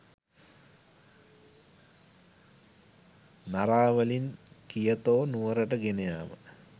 නරාවලින් Kyoto නුවරට ගෙනයාම